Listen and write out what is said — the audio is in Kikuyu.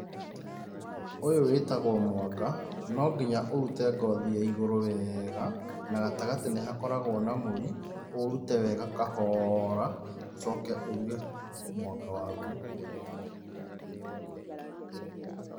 Ũyũ wĩtagwo mwanga, nonginya ũrute ngothi ya igũrũ wega, na gatagatĩ nĩ hakoragwo na mũri, ũũrute wega kahora, ũcoke ũruge mwanga waku.